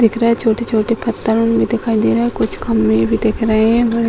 दिख रहे हैं छोटे-छोटे पत्थर उन भी दिखाई दे रहे हैं कुछ खम्बे भी दिख रहे हैं बड़े --